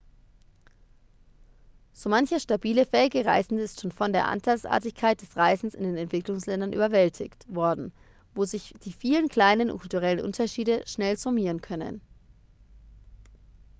so mancher stabile fähige reisende ist schon von der andersartigkeit des reisens in den entwicklungsländern überwältigt worden wo sich die vielen kleinen kulturellen unterschiede schnell summieren können